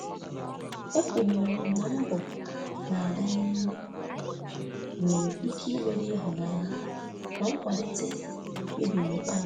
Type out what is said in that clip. Ekwenyere m na mbọ na-aga n'ihu nwere ike imeri ịhụnanya na nkwalite na mkpebi n'ikpeazụ.